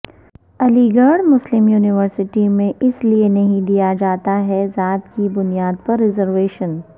علی گڑھ Muslim university میں اس لئے نہیں دیا جاتا ہے ذات کی بنیاد پرریزرویشن